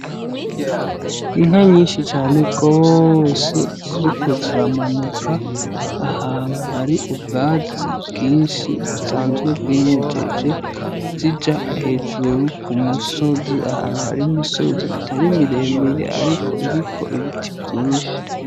Inka nyishi cane gose ziriko ziramanuka ahantu hari ubwatsi bwinshi busanzwe bwimejeje zija hejuru kumusozi ahantu hari imisozi itari mire mire ariko iriko ibiti vyinshi.